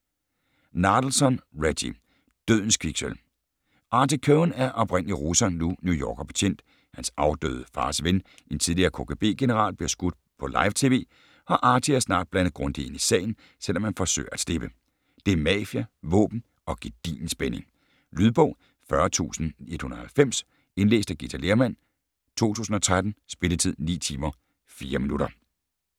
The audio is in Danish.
Nadelson, Reggie: Dødens kviksølv Artie Cohen er oprindelig russer, nu New Yorker-betjent, hans afdøde fars ven, en tidligere KGB-general, bliver skudt på live-TV, og Artie er snart blandet grundigt ind i sagen, selvom han forsøger at slippe. Det er mafia, våben og gedigen spænding. Lydbog 40190 Indlæst af Githa Lerhmann, 2013. Spilletid: 9 timer, 4 minutter.